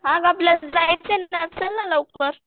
हां आपल्याला जायचं आहे ना चल ना लवकर